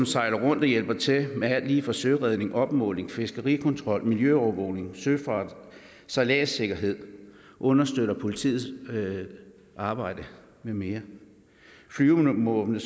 sejler rundt og hjælper til med alt lige fra søredning opmåling fiskerikontrol miljøovervågning søfart sejladssikkerhed understøtter politiets arbejde med mere flyvevåbnet